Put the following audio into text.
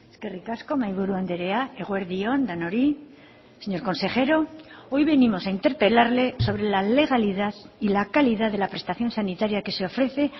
eskerrik asko mahaiburu andrea eguerdi on denoi señor consejero hoy venimos a interpelarle sobre la legalidad y la calidad de la prestación sanitaria que se ofrece